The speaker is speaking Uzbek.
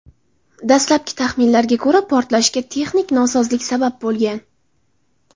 Dastlabki taxminlarga ko‘ra, portlashga texnik nosozlik sabab bo‘lgan.